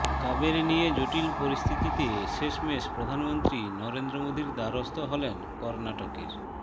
কাবেরী নিয়ে জটিল পরিস্থিতিতে শেষমেশ প্রধানমন্ত্রী নরেন্দ্র মোদীর দ্বারস্থ হলেন কর্নাটকের